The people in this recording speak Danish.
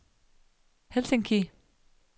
Helsinki